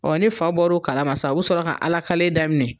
ni fa bɔr'o kalama sa u bɛ sɔrɔ ka Ala kale daminɛ.